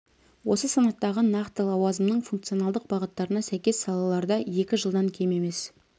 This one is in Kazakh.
осы санаттағы нақты лауазымның функционалдық бағыттарына сәйкес салаларда екі жылдан кем емес